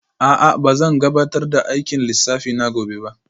A'a ba zan gabatar da aikin lissafi na gobe ba